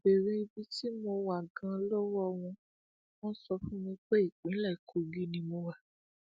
mo béèrè ibi tí mo wà ganan lọwọ wọn wọn sọ fún mi pé ìpínlẹ kogi ni mo wà